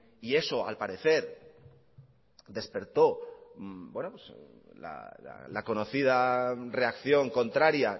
y eso al parecer despertó la conocida reacción contraría